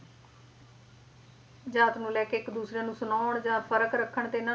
ਜਾਤ ਨੂੰ ਲੈਕੇ ਇੱਕ ਦੂਸਰੇ ਨੂੰ ਸੁਣਾਉਣ ਜਾਂ ਫਰਕ ਰੱਖਣ ਤੇ